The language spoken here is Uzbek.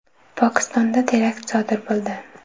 Pokistonda terakt sodir bo‘ldi.